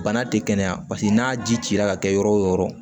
Bana tɛ kɛnɛya paseke n'a ji cira ka kɛ yɔrɔ o yɔrɔ